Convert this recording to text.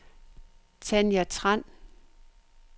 Tanja Tran